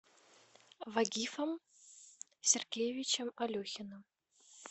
вагифом сергеевичем алехиным